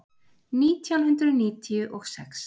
Nítján hundruð níutíu og sex